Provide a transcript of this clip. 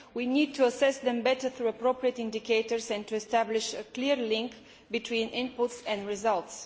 We need to assess them better, using appropriate indicators, and to establish a clear link between inputs and results.